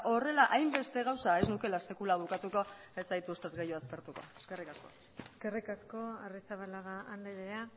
horrela hainbeste gauza ez nukeela sekula bukatuko ez zaituztet gehiago aspertuko eskerrik asko eskerrik asko arrizabalaga andrea